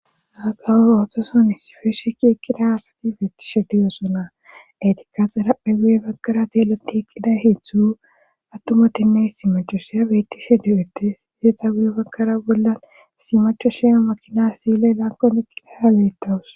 aakawur ootosan issifeeshe ki ekida haasati beettishe deyosona etikka xaraphe guye bakkara teeloti eqqida heetztzu attuma timme simacho shiya bettishe de7ete iyeta guye bakkara bollan simacho shiya makina siyley laakkon eqilaya geettawus